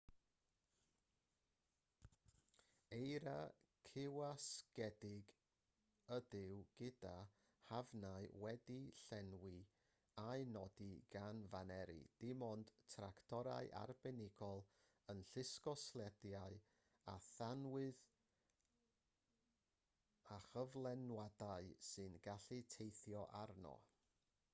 eira cywasgedig ydyw gyda hafnau wedi'u llenwi a'u nodi gan faneri dim ond tractorau arbenigol yn llusgo slediau â thanwydd a chyflenwadau sy'n gallu teithio arno